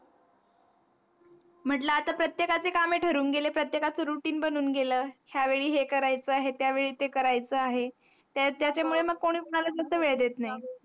म्हटल, आता प्रत्येकाचे कामे ठरून गेले प्रत्येकाचं routine बनून गेलं. ह्या वेळी हे करायच आहे, त्यावेळी ते करायच आहे. त्याच्यामुळे मग कोणी कोणाला जास्त वेळ देत नाही.